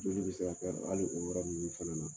tobili bɛ se ka kɛ hali o yɔrɔ minnu fana na.